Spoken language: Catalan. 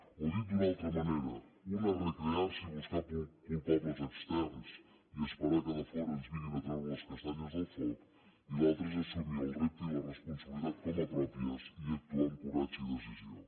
o dit d’una altra manera una és recrear s’hi i buscar culpables externs i esperar que de fora ens vinguin a treure les castanyes del foc i l’altra és assumir el repte i la responsabilitat com a pròpies i actuar amb coratge i decisió